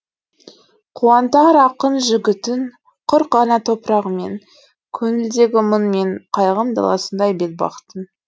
қуантар ақын жігітін құр ғана топырағымен көңілдегі мұң мен қайғым даласындай бетбақтың